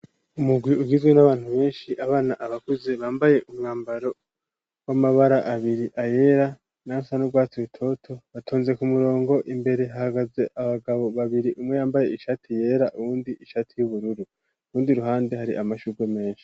Umugwi, ugizwe n'abantu benshi; abana, abakuze, bambaye umwambaro, w'amabara abiri; ayera, n'ayasa n' urwatsi rutoto, batonze ku murongo; imbere, hagaze abagabo babiri, umwe yambaye ishati yera, uwundi ishati y'ubururu; urundi ruhande, hari amashurwe menshi.